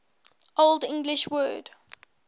old english word